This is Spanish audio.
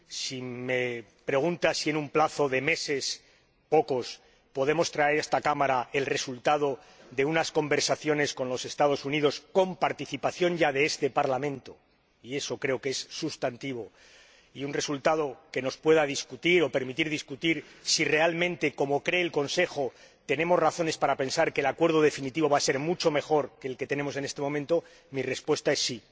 Si me pregunta si en un plazo de meses —pocos— podemos traer a esta Cámara el resultado de unas conversaciones con los Estados Unidos, con participación ya de este Parlamento —y eso creo que es sustantivo—, y un resultado que nos permita discutir si realmente, como cree el Consejo, tenemos razones para pensar que el acuerdo definitivo va a ser mucho mejor que el que tenemos en este momento, mi respuesta es sí.